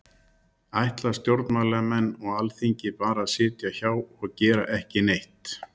Kristján Már Unnarsson: Ætla stjórnmálamenn og Alþingi bara að sitja hjá og gera ekki neitt?